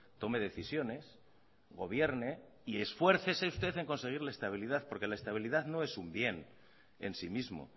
tome decisiones gobierne y esfuércese usted en conseguir la estabilidad porque la estabilidad no es un bien en sí mismo